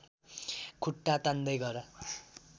खुट्टा तान्दै गर